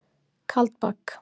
Kaldbak